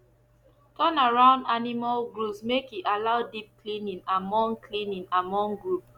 turnaround animal groups make e allow deep cleaning among cleaning among group